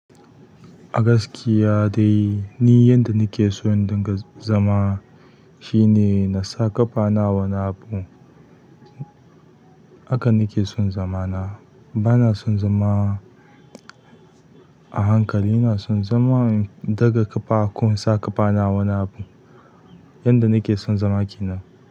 A gaskiya dai, ni yanda nake son in dinga zama shine na sa ƙafa na wani abu. Haka nake son zama na. Bana son zama a hankali, na son zama daga ƙafa ko in sa ƙafa na wani abu. Yanda nake son zama ke nan.